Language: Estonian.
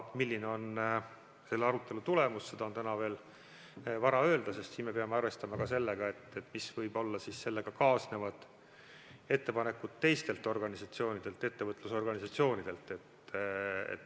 Milline on selle arutelu tulemus, seda on täna veel vara öelda, sest me peame arvestama ka sellega, mis võivad olla sellega kaasnevad ettepanekud teistelt ettevõtlusorganisatsioonidelt.